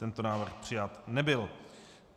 Tento návrh přijat nebyl.